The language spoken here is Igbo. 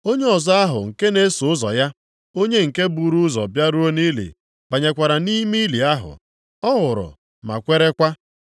Onye ọzọ ahụ nke na-eso ụzọ ya, onye nke buru ụzọ bịaruo nʼili banyekwara nʼime ili ahụ. Ọ hụrụ ma kwerekwa.